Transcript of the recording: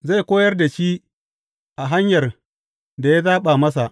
Zai koyar da shi a hanyar da ya zaɓa masa.